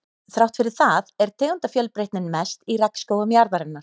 Þrátt fyrir það er tegundafjölbreytnin mest í regnskógum jarðarinnar.